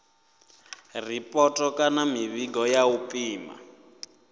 ripoto kana mivhigo ya u pima